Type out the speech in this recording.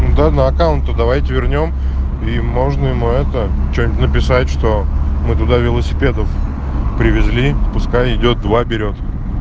ну да на аккаунту давайте вернём и можно ему это что-нибудь написать что мы туда велосипедов привезли пускай идёт два берет